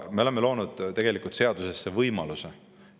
Aga me oleme loonud tegelikult uue seadusliku võimaluse.